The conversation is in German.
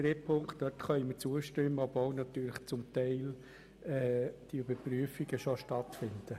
Der dritten Ziffer können wir zustimmen, obwohl diese Überprüfungen teilweise schon stattfinden.